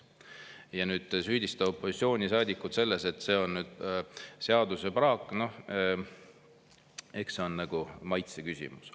Ja nüüd süüdistada opositsioonisaadikuid selles, et see on seadusepraak, eks see on maitseküsimus.